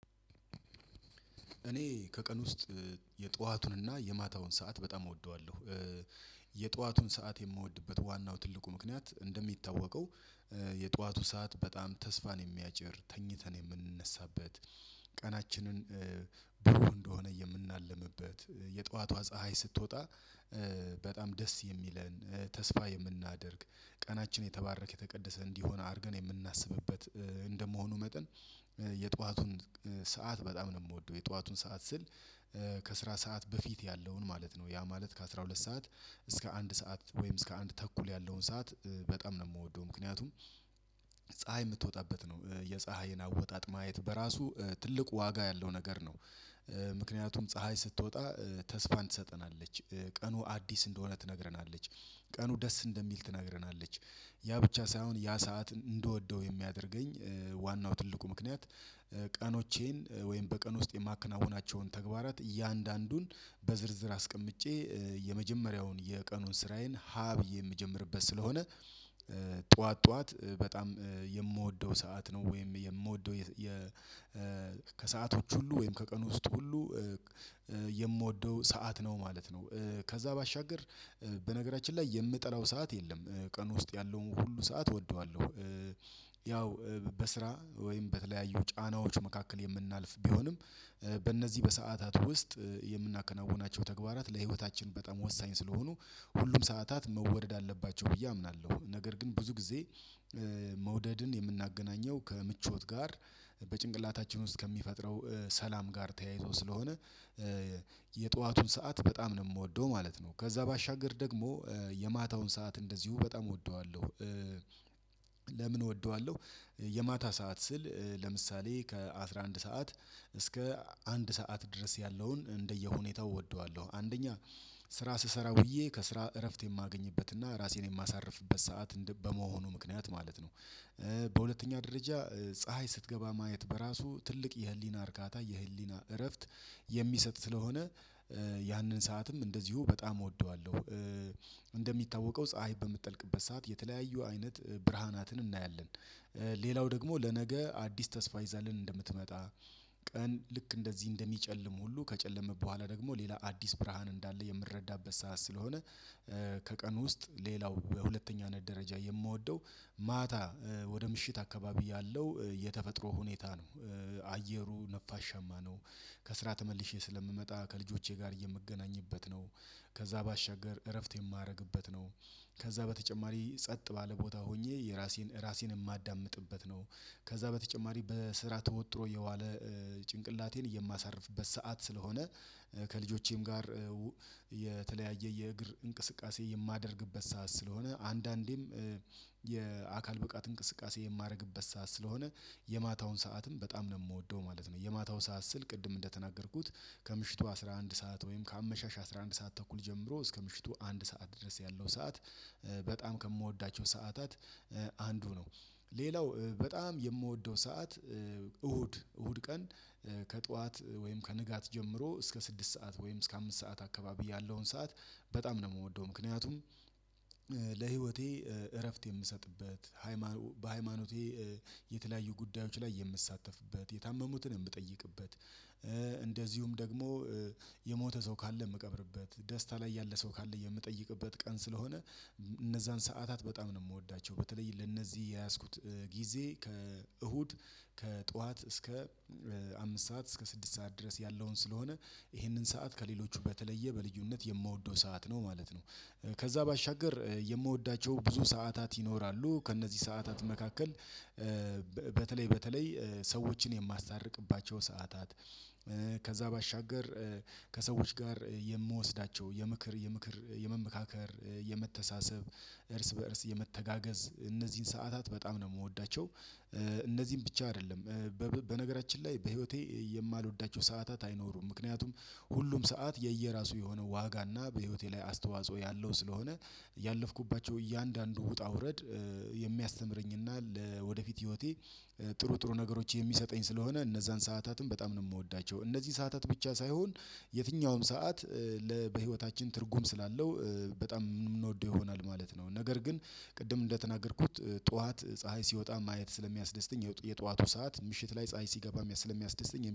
እኔ ከቀን ውስጥ የጧዋቱንና የማታውን ሰዓት በጣም እወደዋለሁ። የጧዋቱን ሰዓት የምወድበት ዋናው ትልቁ ምክንያት እንደሚታወቀው የጧዋቱ ሰዓት በጣም ተስፋን የሚያጭር ተኝተን የምንነሳበት ቀናችንን ብሩህ እንደሆነ የምናለምበት የጠዋቷ ፀሀይ ስትወጣ በጣም ደስ የሚለን ተስፋ የምናደርግ ቀናችን የተባረከ የተቀደሰ እንዲሆን አድርገን የምናስብበት እንደመሆኑ መጠን የጧዋቱን ሰዓት በጣም ነው የምወደው የጧዋቱን ሰዓት ስል ከስራ ሰዓት በፊት ያለውን ማለት ነው ያ ማለት ከአሥራ ሁለት ሰዓት እስከ አንድ ሰዓት ወይም እስከ አንድ ተኩል ያለውን ሰዓት በጣም ነው የምወደው ምክንያቱም ፀሀይ የምትወጣበት ነው የፀሀይን አወጣጥ ማየት በራሱ ትልቁ ዋጋ ያለው ነገር ነው። ምክንያቱም ፀሀይ ስትወጣ ተስፋን ትሰጠናለች ቀኑ አዲስ እንደሆነ ትነግረናለች ቀኑ ደስ እንደሚል ትነግረናለች ያ ብቻ ሳይሆን ያ ሰዓት እንደወደው የሚያደርገኝ ዋናው ትልቁ ምክንያት ቀኖቼን ወይም በቀን ውስጥ የማከናውናቸውን ተግባራት እያንዳንዱን በዝርዝር አስቀምጬ የመጀመሪያውን የቀኑን ስራዬን ሀ ብዬ የምጀምርበት ስለሆነ ጠዋት ጠዋት በጣም የምወደው ሰዓት ነው ወይም የምወደው የ ከሰዓቶች ሁሉ ወይም ከቀን ውስጥ ሁሉ የምወደው ሰዓት ነው ማለት ነው። ከዛ ባሻገር በነገራችን ላይ የምጠላው ሰዓት የለም ቀን ውስጥ ያለውን ሁሉ ሰዓት እወደዋለሁ። ያው በስራ ወይም በተለያዩ ጫናዎች መካከል የምናልፍ ቢሆንም በእነዚህ በሰአታት ውስጥ የምናከናውናቸው ተግባራት ለህይወታችን በጣም ወሳኝ ስለሆኑ ሁሉም ሰዓታት መወደድ አለባቸው ብዬ አምናለሁ ነገር ግን ብዙ ጊዜ መውደድን የምናገናኘው ከምቾት ጋር በጭንቅላታችን ውስጥ ከሚፈጥረው ሰላም ጋር ተያይዞ ስለሆነ የጧዋቱን ሰዓት በጣም ነው የምወደው ማለት ነው ከዛ ባሻገር ደግሞ የማታውን ሰዓት እንደዚሁ በጣም እወደዋለሁ። ለምን እወደዋለሁ የማታ ሰዓት ስል ለምሳሌ ከአሥራ አንድ ሰዓት እስከ አንድ ሰዓት ድረስ ያለውን እንደየሁኔታው እወደዋለሁ አንደኛ ስራ ስሰራ ውዬ ከስራ እረፍት የማገኝበትና ራሴን የማሳርፍበት ሰዓት በመሆኑ ምክንያት ማለት ነው። በሁለተኛ ደረጃ ፀሀይ ስትገባ ማየት በራሱ ትልቅ የህሊና እርካታ የህሊና እረፍት የሚሰጥ ስለሆነ ያንን ሰዓትም እንደዚሁ በጣም እወደዋለሁ። እንደሚታወቀው ፀሀይ በምትጠልቅበት ሰዓት የተለያዩ አይነት ብርሃናትን እናያለን ሌላው ደግሞ ለነገ አዲስ ተስፋ ይዛልን እንደምትመጣ ቀን ልክ እንደዚህ እንደሚጨልም ሁሉ ከጨለመም በኋላ ደግሞ ሌላ አዲስ ብርሃን እንዳለ የምረዳበት ሰዓት ስለሆነ ከቀን ውስጥ ሌላው በሁለተኛነት ደረጃ የምወደው ማታ ወደ ምሽት አካባቢ ያለው የተፈጥሮ ሁኔታ ነው አየሩ ነፋሻማ ነው ከስራ ተመልሼ ስለምመጣ ከልጆቼ ጋር የምገናኝበት ነው ከዛ ባሻገር እረፍት የማረግበት ነው ከዛ በተጨማሪ ጸጥ ባለ ቦታ ሆኜ የራሴን ራሴን የማዳምጥበት ነው ከዛ በተጨማሪ በስራ ተወጥሮ የዋለ ጭንቅላቴን የማሳርፍበት ሰዓት ስለሆነ። ከልጆቼም ጋር የተለያየ የእግር እንቅስቃሴ የማደርግበት ሰዓት ስለሆነ አንዳንዴም የአካል ብቃት እንቅስቃሴ የማደርግበት ሰዓት ስለሆነ የማታውን ሰዓትም በጣም ነው የምወደው ማለት ነው። የማታው ሰዓት ስል ቅድም እንደተናገርኩት ከምሽቱ አስራ አንድ ሰዓት ወይም ከአመሻሽ አስራ አንድ ሰዓት ተኩል ጀምሮ እስከ ምሽቱ አንድ ሰዓት ድረስ ያለው ሰዓት በጣም ከምወዳቸው ሰዓታት አንዱ ነው ሌላው በጣም የምወደው ሰዓት እሁድ እሁድ ቀን ከጧዋት ወይም ከንጋት ጀምሮ እስከ ስድስት ሰዓት ወይም እስከ አምስት ሰዓት አካባቢ ያለውን ሰዓት በጣም ነው የምወደው ምክንያቱም። ለህይወቴ እረፍት የምሰጥበት በሃይማኖቴ የተለያዩ ጉዳዮች ላይ የምትሳተፍበት የታመሙትን የምጠይቅበት እንደዚሁም ደግሞ የሞተ ሰው ካለ የምቀብርበት ደስታ ላይ ያለ ሰው ካለ የምጠይቅበት ቀን ስለሆነ እነዛን ሰዓታት በጣም ነው የምወዳቸው በተለይ ለእነዚህ የያዝኩት ጊዜ ከእሁድ ከጧት እስከ አምስት ሰዓት እስከ ስድስት ሰዓት ድረስ ያለውን ስለሆነ ይህንን ሰዓት ከሌሎቹ በተለየ በልዩነት የምወደው ሰዓት ነው ማለት ነው። ከዛ ባሻገር የምወዳቸው ብዙ ሰዓታት ይኖራሉ ከእነዚህ ሰዓታት መካከል በተለይ በተለይ ሰዎችን የማስታርቅባቸው ሰዓታት ከዛ ባሻገር ከሰዎች ጋር የምወስዳቸው የምክር የምክር የመመካከር የመተሳሰብ እርስ በእርስ የመተጋገዝ እነዚህን ሰዓታት በጣም ነው የምወዳቸው እነዚህን ብቻ አይደለም በነገራችን ላይ በህይወቴ የማልወዳቸው ሰዓታት አይኖሩም ምክንያቱም ሁሉም ሰዓት የየራሱ የሆነ ዋጋና በህይወቴ ላይ አስተዋጽኦ ያለው ስለሆነ ያለፍኩባቸው እያንዳንዱ ውጣ ውረድ የሚያስተምረኝና ለወደፊት ህይወቴ ጥሩ ጥሩ ነገሮች የሚሰጠኝ ስለሆነ እነዛን ሰዓታትን በጣም ነው የምወዳቸው እነዚህ ሰዓታት ብቻ ሳይሆን የትኛውም ሰዓት ለ ለ በህይወታችን ትርጉም ስላለው በጣም የምንወደው ይሆናል ማለት ነው። ነገር ግን ቅድም እንደተናገርኩት ጠዋት ፀሀይ ሲወጣ ማየት ስለሚያስደስተኝ የጧቱ ሰዓት ምሽት ላይ ፀሀይ ሲገባ ስለሚያስደስተኝ